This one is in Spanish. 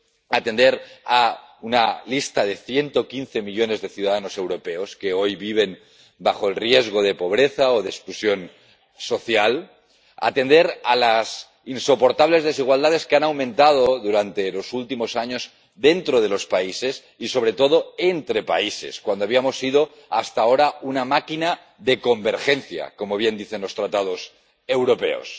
Atender a una lista de 115 millones de ciudadanos europeos que hoy viven en riesgo de pobreza o de exclusión social. Atender a las insoportables desigualdades que han aumentado durante los últimos años dentro de los países y, sobre todo, entre países, cuando habíamos sido hasta ahora una máquina de convergencia, como bien dicen los Tratados europeos.